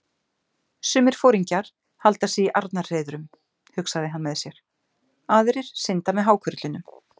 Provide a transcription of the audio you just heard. Sumir foringjar halda sig í arnarhreiðrum, hugsaði hann með sér, aðrir synda með hákörlunum.